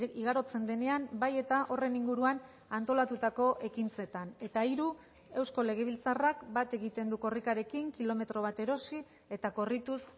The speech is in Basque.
igarotzen denean bai eta horren inguruan antolatutako ekintzetan eta hiru eusko legebiltzarrak bat egiten du korrikarekin kilometro bat erosi eta korrituz